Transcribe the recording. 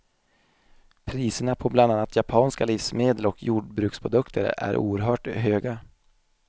Priserna på bland annat japanska livsmedel och jordbruksprodukter är oerhört höga.